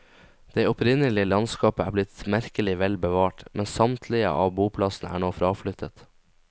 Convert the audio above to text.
Det opprinnelige landskap er blitt merkelig vel bevart, men samtlige av boplassene er nå fraflyttet.